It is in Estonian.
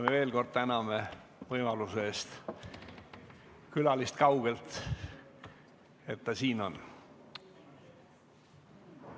Me veel kord täname külalist kaugelt, et ta siin on.